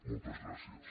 moltes gràcies